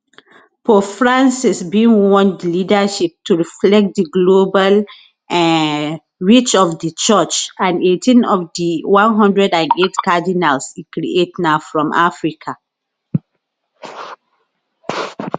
pope francis bin want di leadership to reflect di global um reach of di church and 18 of di 108 cardinals e create na from africa